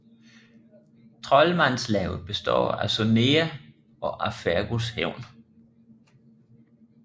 Trolmandslavet består af Sonea og af Fergus hævn